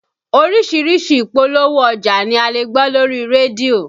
Oríṣiríṣi ìpolówó ọjà ni a lè gbọ́ lórí rédíò